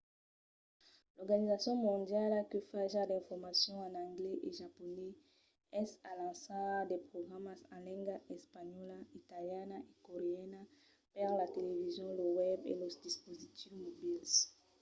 l’organizacion mondiala que fa ja d'informacion en anglés e japonés es a lançar de programas en lengas espanhòla italiana e coreana per la television lo web e los dispositius mobils